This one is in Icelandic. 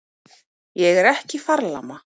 Ég er ekki farlama.